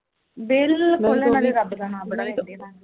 ਬਿਲਕੁਲ ਨਾਲੇ ਰੱਬ ਦਾ ਨਾਂ ਬੜਾ ਲੈਂਦੇ